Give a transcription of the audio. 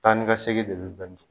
Tani ka segin de bi bɛn di